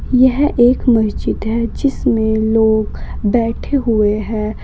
यह एक मस्जिद है जिसमें लोग बैठे हुए हैं।